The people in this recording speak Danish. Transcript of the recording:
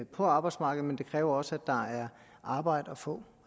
på arbejdsmarkedet men det kræver også at der er arbejde at få